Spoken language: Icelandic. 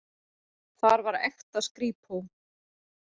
Þar var ekta skrípó.